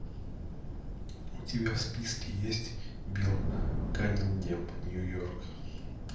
у тебя в списке есть билл каннингем нью йорк